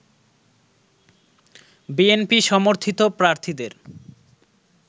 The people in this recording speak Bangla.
বিএনপি সমর্থিত প্রার্থীদের